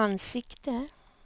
ansikte